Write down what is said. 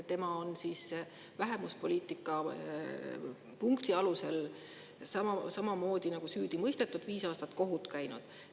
Tema on vähemuspoliitika punkti alusel samamoodi nagu süüdi mõistetud ja viis aastat kohut käinud.